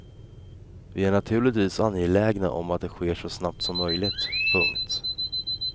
Vi är naturligtvis angelägna om att det sker så snabbt som möjligt. punkt